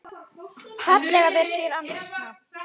fallega þeir sér ansa.